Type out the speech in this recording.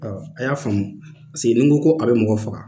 a y'a faamu, paseke n'i ko ko a bɛ mɔgɔ faga